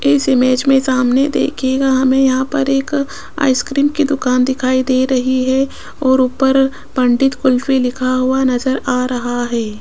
इस इमेज में सामने देखिएगा हमें यहां पर एक आइसक्रीम की दुकान दिखाई दे रही है और ऊपर पंडित कुल्फी लिखा हुआ नजर आ रहा है।